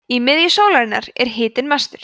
í miðju sólarinnar er hitinn mestur